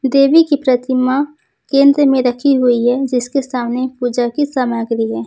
देवी की प्रतिमा केंद्र में रखी हुई है जिसके सामने पूजा की सामग्री है।